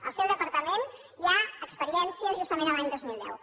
al seu departament hi ha experiències justament l’any dos mil deu